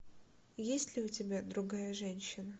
есть ли у тебя другая женщина